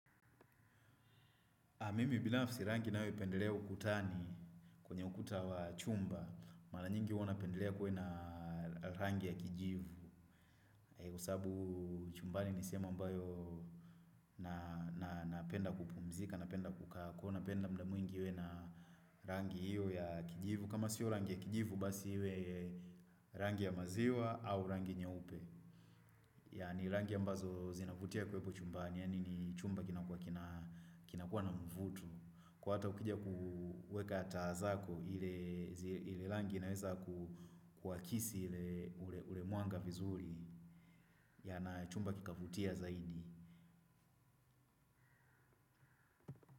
Mimi binafsi rangi ninayopendelea ukutani kwenye ukuta wa chumba. Mara nyingi huwa napendelea kuwe na rangi ya kijivu. Kwa sababu chumbani ni sehemu ambayo napenda kupumzika, napenda kukaa, kwa hiyo napenda muda mwingi iwe na rangi hiyo ya kijivu. Kama sio rangi ya kijivu basi iwe rangi ya maziwa au rangi nyeupe. Yaani rangi ambazo zinavutia kuwepo chumbani, yaani ni chumba kinakuwa kina kinakuwa na mvuto. Kwa hiyo hata ukija kuweka taa zako ile rangi inaweza kuakisi ule mwanga vizuri ya na chumba kikavutia zaidi.